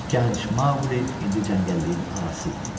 Gənc Maqli indi cəngəlliyin ağası idi.